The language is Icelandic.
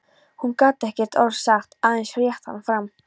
Hún gat ekkert orð sagt, aðeins rétt hann fram.